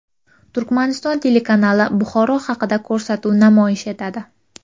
Turkmaniston telekanali Buxoro haqida ko‘rsatuv namoyish etadi.